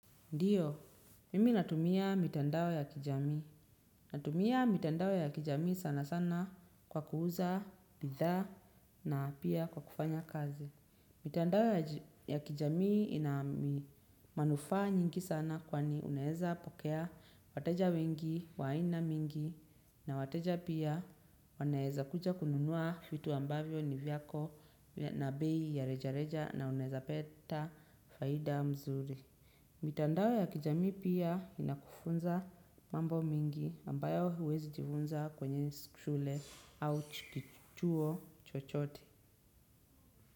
Ndio, mimi natumia mitandao ya kijamii. Natumia mitandao ya kijamii sana sana kwa kuuza, bidhaa na pia kwa kufanya kazi. Mitandao ya kijamii ina manufaa nyingi sana kwani unaeza pokea wateja wengi, wa aina mingi na wateja pia wanaeza kuja kununua fitu ambavyo ni vyako na bei ya reja reja na unaeza peta faida mzuri. Mitandao ya kijamii pia inakufunza mambo mingi ambayo huwezi jivunza kwenye shule au chuo chochote.